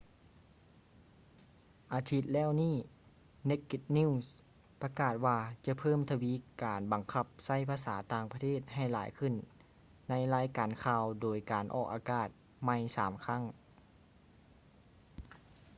ອາທິດແລ້ວນີ້ naked news ປະກາດວ່າຈະເພີ່ມທະວີການບັງຄັບໃຊ້ພາສາຕ່າງປະທດໃຫ້ຫຼາຍຂຶ້ນໃນການລາຍງານຂ່າວໂດຍການອອກອາກາດໃໝ່ສາມຄັ້ງ